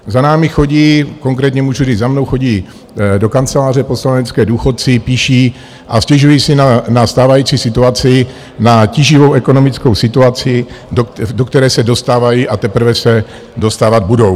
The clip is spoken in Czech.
Za námi chodí, konkrétně můžu říct, za mnou chodí do kanceláře poslanecké důchodci, píší a stěžují si na stávající situaci, na tíživou ekonomickou situaci, do které se dostávají a teprve se dostávat budou.